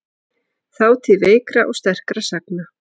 Þátíð veikra og sterkra sagna.